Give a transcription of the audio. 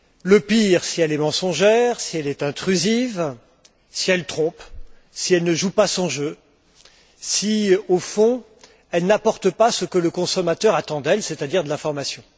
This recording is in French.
Le pire si elle est mensongère, si elle est intrusive, si elle trompe, si elle ne joue pas son jeu, si, au fond, elle n'apporte pas ce que le consommateur attend d'elle, c'est à dire de l'information.